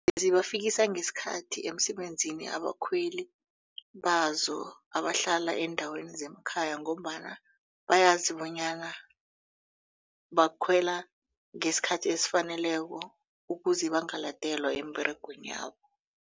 Zibafikisa ngesikhathi emsebenzini abakhweli bazo abahlala eendaweni zemakhaya ngombana bayazi bonyana bakhwela ngesikhathi esifaneleko ukuze bangaladelwa emberegweni yabo.